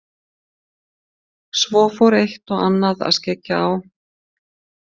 Svo fór eitt og annað að skyggja á.